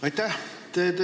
Aitäh!